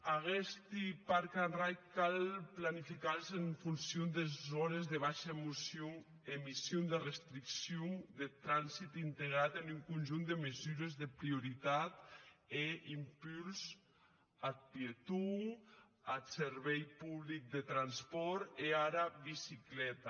aguesti park and rides cau planificar les en funcion des ores de baisha emission de restriccion deth transit integrat en un conjunt de mesures de prioritat e impuls ath pieton ath servici public de transpòrt e ara bicicleta